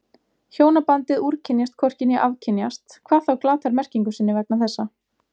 Hjónabandið úrkynjast hvorki né afkynjast, hvað þá glatar merkingu sinni vegna þessa.